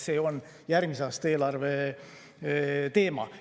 See on järgmise aasta eelarve teema.